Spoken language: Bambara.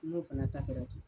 N'o fɛnɛ ta kɛra ten.